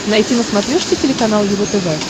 найти на смотрешке телеканал его тв